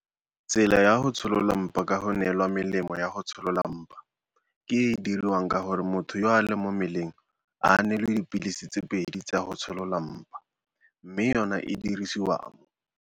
Tsela ya go tsholola mpa ka go neelwa melemo ya go tsholola mpa ke e e diriwang ka gore motho yo a leng mo mmeleng a neelwe dipilisi tse pedi tsa go tsholola mpa, mme yona e dirisiwa mo.